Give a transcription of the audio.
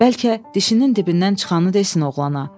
Bəlkə dişinin dibindən çıxanı desin oğlana.